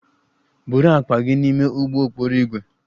Buru akpa gị n'ime ụgbọ okporo ígwè!